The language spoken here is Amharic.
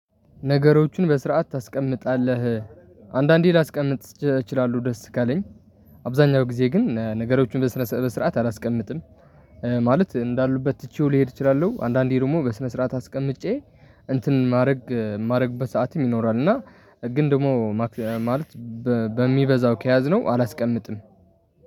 ነገሮቹን በስርዓት ታስቀምጣለህ አንዳንዴ ላስቀምጥ እችላለሁ ደስ ካለኝ አብዛኛው ጊዜ ግን ነገሮቹን በስነ ስርዓት አላስቀምጥም። ኧ ማለት እንዳሉበት ትቼው ሊሄድ እችላለሁ አንዳንዴ ደግሞ በስነ ስርዓት አስቀምጬ እንትን ማረግ እማረግበት ሰዓትም ይኖራል። እና ግን ደግሞ ማክ ማለት። በሚበዛው ከያዝነው አላስቀምጥም